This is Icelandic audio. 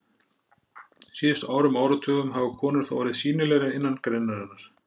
síðustu árum og áratugum hafa konur þó orðið sýnilegri innan greinarinnar.